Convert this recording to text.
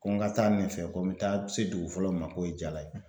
Ko n ka taa nin fɛ ko n mɛ taa se dugu fɔlɔ min ma k'o ye Jala ye.